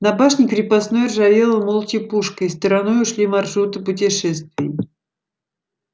на башне крепостной ржавела молча пушка и стороной ушли маршруты путешествий